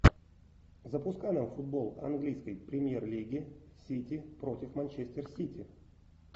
запускай нам футбол английской премьер лиги сити против манчестер сити